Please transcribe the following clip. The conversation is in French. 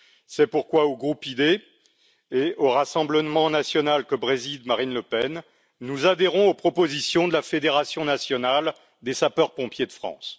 C'est pourquoi au groupe ID et au Rassemblement national que préside Marine Le Pen, nous adhérons aux propositions de la Fédération nationale des sapeurs pompiers de France.